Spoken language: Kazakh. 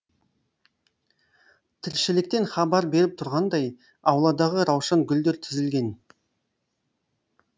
тіршіліктен хабар беріп тұрғандай ауладағы раушан гүлдер тізілген